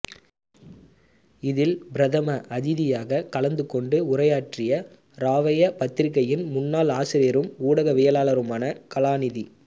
இதில் பிரதம அதிதியாகக் கலந்துகொண்டு உரையாற்றிய ராவய பத்திரிகையின் முன்னாள் ஆசிரியரும் ஊடகவியாளருமான கலாநிதி